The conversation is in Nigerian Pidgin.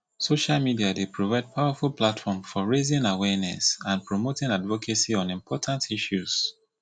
social media dey provide powerful platform for raising awareness and promoting advocacy on important issues